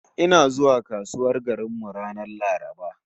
Ina zuwa kasuwar garin mu ranar Laraba